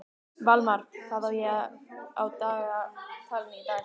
Valmar, hvað er á dagatalinu í dag?